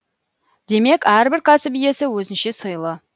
демек әрбір кәсіп иесі өзінше сыйлы